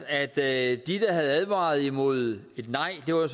at de der havde advaret imod et nej var